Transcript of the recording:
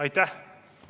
Aitäh!